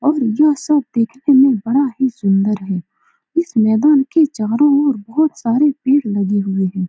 और यह सब देखने में बड़ा ही सुंदर है इस मैदान के चारों ओर बहुत सारे पेड़ लगे हुए हैं ।